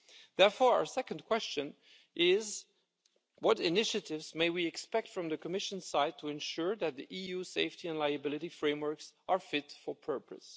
Therefore, our second question is what initiatives may we expect from the Commission side to ensure that the EU safety and liability frameworks are fit for purpose?